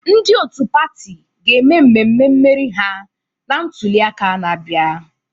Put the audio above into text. Ndị otu pati ga-eme mmemme mmeri ha na ntuliaka na-abịa.